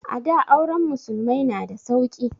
A da auren musulmai na da sauki